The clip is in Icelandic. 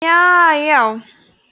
jaajá